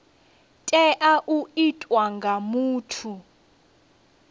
tea u itwa nga muthu